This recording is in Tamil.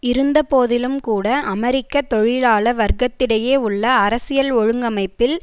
இருந்தபோதிலும் கூட அமெரிக்க தொழிலாள வர்க்கத்திடையே உள்ள அரசியல் ஒழுங்கமைப்பில்